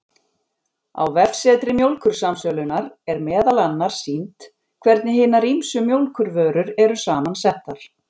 Á vefsetri Mjólkursamsölunnar, er meðal annars sýnt hvernig hinar ýmsu mjólkurvörur eru saman settar.